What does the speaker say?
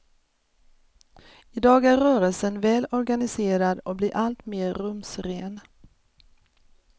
I dag är rörelsen väl organiserad och blir alltmer rumsren.